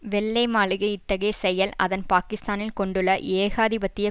வெள்ளை மாளிகை இத்தகைய செயல் அதன் பாக்கிஸ்தானில் கொண்டுள்ள ஏகாதிபத்திய